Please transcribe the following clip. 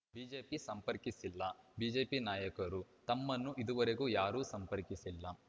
BJP ಸಂಪರ್ಕಿಸಿಲ್ಲ BJP ನಾಯಕರು ತಮ್ಮನ್ನು ಇದುವರೆಗೂ ಯಾರೂ ಸಂಪರ್ಕಿಸಿಲ್ಲ